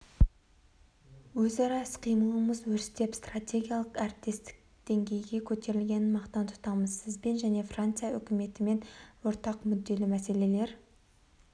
өзара іс-қимылымыз өрістеп стратегиялық әріптестік деңгейіне көтерілгенін мақтан тұтамыз сізбен және франция үкіметімен ортақ мүдделі мәселелер